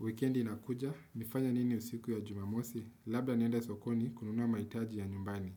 Wikendi na kuja, nifanya nini usiku ya jumamosi, labda nienda sokoni kununua maitaji ya nyumbani.